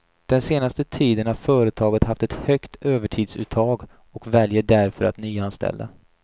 Den senaste tiden har företaget haft ett högt övertidsuttag och väljer därför att nyanställa.